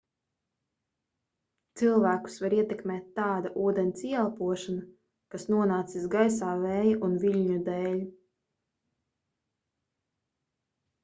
cilvēkus var ietekmēt tāda ūdens ieelpošana kas nonācis gaisā vēja un viļņu dēl